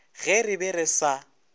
ge re be re sa